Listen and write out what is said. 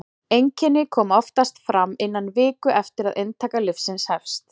einkenni koma oftast fram innan viku eftir að inntaka lyfsins hefst